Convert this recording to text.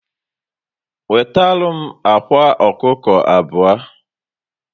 Wetaram akwa ọkụkọ abụọ